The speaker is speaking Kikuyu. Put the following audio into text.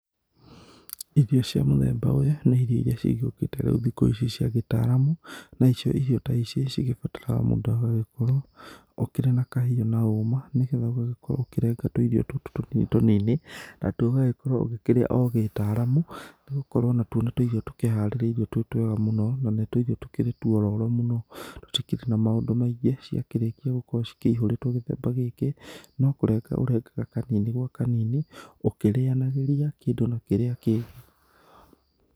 Irio cia mũthemba ũyũ nĩ irio iria cigĩũkĩte rĩu thikũ ici cia gĩtaramu, nacio irio ta ici cigĩbataraga mũndũ agagĩkorwo ũkĩrĩ na kahiũ na hũma. Nĩ getha ũgagĩkorwo ũkĩrenga tũirio tũtũ tũnini tũnini natwo ũgagĩkorwo ũgĩkĩrĩa o gĩtaramu. Nĩgũkorwo natũo nĩ tũirio trũkĩharĩrĩirio twĩ twega mũno, na nĩ tuirio tũkĩrĩ tuororo mũno. Tũtikĩrĩ na maũndũ maingĩ ciakĩrĩkia gũkorwo cikĩhũrĩtwo gĩthemba gĩkĩ, no kũrenga ũrengaga kanini gwa kanini ũkirĩanagĩria kĩndũ na kĩrĩa kĩngĩ.